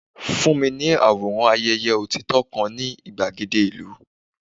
fún mi ní àwòrán ayeye otito kan ni igbagede ilu